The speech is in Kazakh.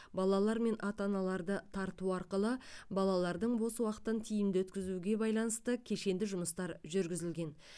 балалар мен ата аналарды тарту арқылы балалардың бос уақытын тиімді өткізуге байланысты кешенді жұмыстар жүргізілген